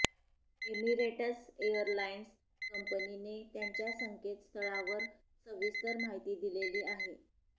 Emirates airlines कंपनीने त्यांच्या संकेत स्थळावर सविस्तर माहिती दिलेली आहे